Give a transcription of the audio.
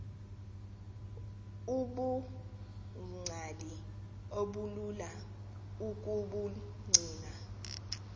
ubungcali obulula ukubugcina